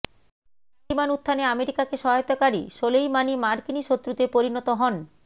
তালিবান উত্থানে আমেরিকাকে সহায়তাকারি সোলেইমানি মার্কিনী শত্রুতে পরিণত হন